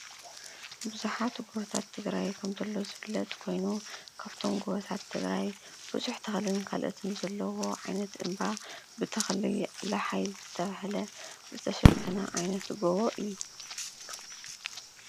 ቡዛሓት ጎቦታት ትግራይከም ዞሎ ዝፍለጥ ኮይኑ ካብቶሞ ጎቦታት ትግራይ ቡዝሕ ተኽልን ካልኦትን ዘለዎ ዓይነት ድማ ብተክሊ ላሓይ ዝተባሃለ ዝተሸፍነ ዓይነት ጎቦ እዩ።